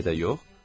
Niyə də yox?